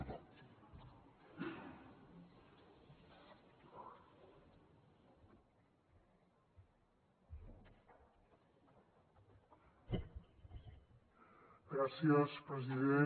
gràcies president